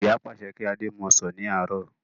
Ìyá pàṣẹ kí adé mú ọsàn ní àárọ̀